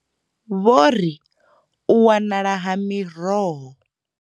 Vho ri u wanala ha miroho.